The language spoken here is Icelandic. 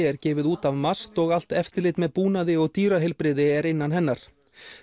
er gefið út af MAST og allt eftirlit með búnaði og dýraheilbrigði er innan hennar